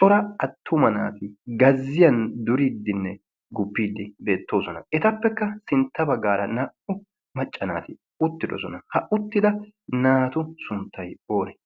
cora attuma naati gazziyan duriiddinne guppiiddi beettoosona. etappekka sintta baggaara naa77u maccanaati uttidosona. ha uttida naatu sunttai oone?